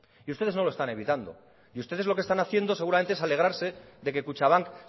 y ustedes no lo están evitando y ustedes lo que están haciendo seguramente es alegrarse de que kutxabank